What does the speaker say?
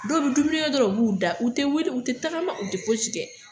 Dɔw bɛ dumuni kɛ dɔrɔn u b'u da u tɛ wuli u tɛ tagama u tɛ fosi kɛ